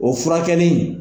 O furakɛli